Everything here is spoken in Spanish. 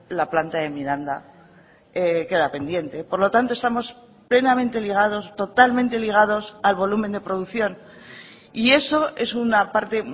la planta de miranda queda pendiente por lo tanto estamos plenamente ligados totalmente ligados al volumen de producción y eso es una parte